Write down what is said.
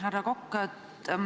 Härra Kokk!